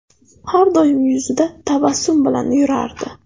Har doim yuzida tabassum bilan yurardi”.